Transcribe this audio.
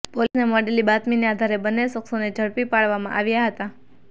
પોલીસને મળેલી બાતમીને આધારે બન્ને શખ્સોને ઝડપી પાડવામાં આવ્યા હતા